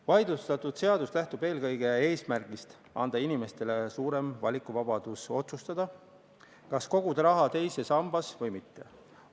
Vaidlustatud seadus lähtub eelkõige eesmärgist anda inimestele suurem valikuvabadus otsustada, kas koguda raha teise sambasse või mitte.